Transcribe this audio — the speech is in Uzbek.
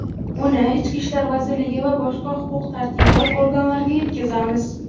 uni Ichki ishlar vazirligi va boshqa huquq-tartibot organlariga yetkazamiz.